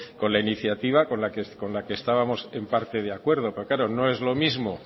con la iniciativa con la que estábamos en parte de acuerdo porque claro no es lo mismo